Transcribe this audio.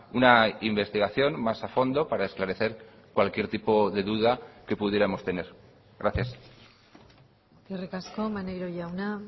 una investigación más a fondo para esclarecer cualquier tipo de duda que pudiéramos tener gracias eskerrik asko maneiro jauna